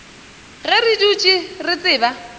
ge re dutše re tseba